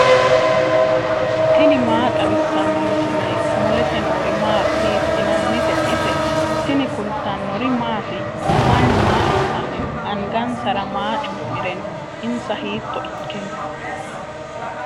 tini maa xawissanno misileeti ? mulese noori maati ? hiissinannite ise ? tini kultannori mattiya? Mannu maa assanni noo? Angasara maa cu'mire noo? insa hiitto ikke noo?